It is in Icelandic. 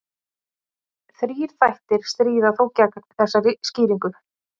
Þrír þættir stríða þó gegn þessari skýringu.